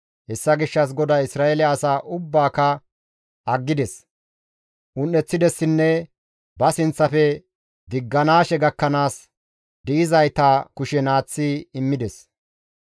Hessa gishshas GODAY Isra7eele asa ubbaaka aggides; un7eththidessinne ba sinththafe digganaashe gakkanaas di7izayta kushen aaththi immides.